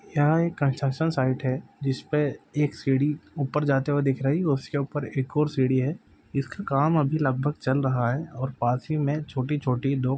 यहा एक construction site है जिसपे एक सीढ़ी ऊपर जाते हुए दिख रही और उसके ऊपर एक और सीढ़ी है जिसका काम अभी लगभग चल रहा है और पास ही मे छोटी-छोटी दो--